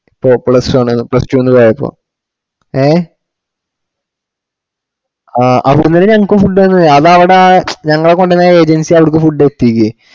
ഇപ്പൊ പ്ലസ്‌ടു പ്ലസ്‌ടുന്ന് പോയപ്പോ ആ അവിടന്നന്നെ ഞങ്ങക്ക് food തന്നേ അതവട ഞങ്ങള കൊണ്ടൊയ agency അവർക്ക് food എത്തീക്ക്